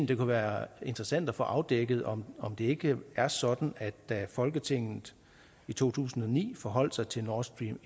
det kunne være interessant at få afdækket om om det ikke er sådan at da folketinget i to tusind og ni forholdt sig til nord stream